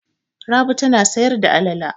Rabi tana sayar da alale.